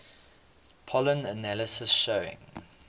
pollen analysis showing